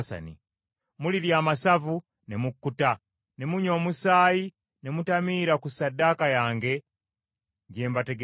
Mulirya amasavu ne mukkuta, ne munywa omusaayi ne mutamiira ku ssaddaaka yange gye mbategekera.